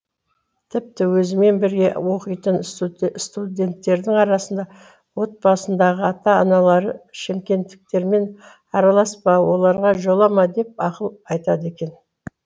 тіпті өзіммен бірге оқитын студенттердің арасында отбасындағы ата аналары шымкенттіктермен араласпа оларға жолама деп ақыл айтады екен